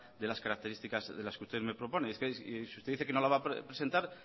de las características de las que usted me propone si usted dice que no la va a presentar